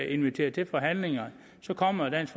inviteret til forhandlingerne kommer dansk